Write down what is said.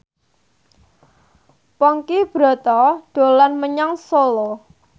Ponky Brata dolan menyang Solo